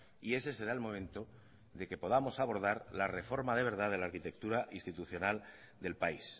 y ese será el momento de que podamos abordar la reforma de verdad de la arquitectura institucional del país